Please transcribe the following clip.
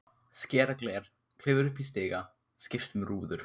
Skera gler, klifra upp í stiga, skipta um rúður.